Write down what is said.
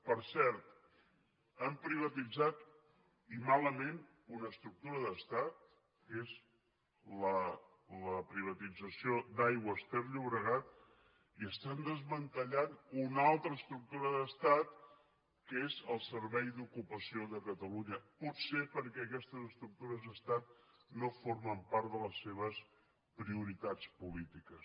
per cert han privatitzat i malament una estructura d’estat que és la privatització d’aigües ter llobregat i estan desmantellant una altra estructura d’estat que és el servei d’ocupació de catalunya potser perquè aquestes estructures d’estat no formen part de les seves prioritats polítiques